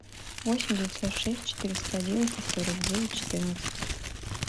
восемь девятьсот шесть четыреста одиннадцать сорок девять четырнадцать